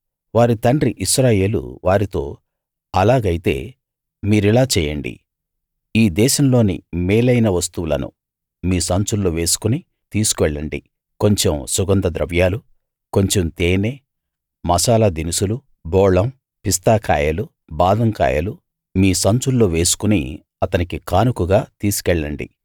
వారి తండ్రి ఇశ్రాయేలు వారితో అలాగైతే మీరిలా చేయండి ఈ దేశంలోని మేలైన వస్తువులను మీ సంచుల్లో వేసుకుని తీసుకెళ్ళండి కొంచెం సుగంధ ద్రవ్యాలు కొంచెం తేనె మసాలా దినుసులు బోళం పిస్తా కాయలు బాదం కాయలు మీ సంచుల్లో వేసుకుని అతనికి కానుకగా తీసుకెళ్లండి